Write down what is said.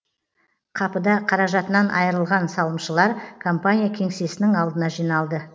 қапыда қаражатынан айырылған салымшылар компания кеңсесінің алдына жиналды